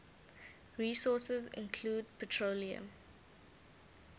resources include petroleum